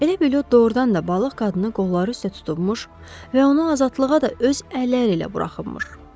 Elə bil o doğurdan da balıq qadını qolları üstə tutulmuş və onu azadlığa da öz əlləri ilə buraxılmışdı.